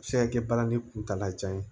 A bɛ se ka kɛ balani kuntaala jan ye